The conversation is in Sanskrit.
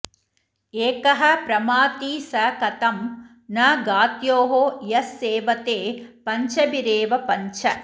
एकः प्रमाथी स कथं न घात्यो यः सेवते पञ्चभिरेव पञ्च